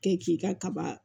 Kɛ k'i ka kaba